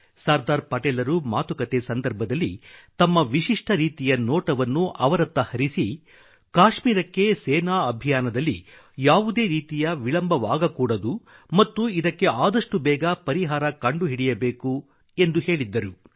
ಸರ್ದಾರ್ ಪಟೇಲ್ರು ಮಾತುಕತೆ ಸಂದರ್ಭದಲ್ಲಿ ತಮ್ಮ ವಿಶಿಷ್ಟ ರೀತಿಯ ನೋಟವನ್ನು ಅವರತ್ತ ಹರಿಸಿ ಕಾಶ್ಮೀರಕ್ಕೆ ಸೇನಾ ಅಭಿಯಾನದಲ್ಲಿ ಯಾವುದೇ ರೀತಿಯ ವಿಳಂಬವಾಗಕೂಡದು ಮತ್ತು ಇದಕ್ಕೆ ಆದಷ್ಟು ಬೇಗ ಪರಿಹಾರ ಕಂಡುಹಿಡಿಯಬೇಕು ಎಂದು ಹೇಳಿದ್ದರು